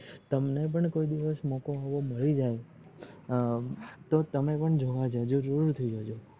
તમને પણ કોઈ દિવસ મોકો આવો માડી જાય એ તો તમે પણ જોવા જજો જરૂર થી જજો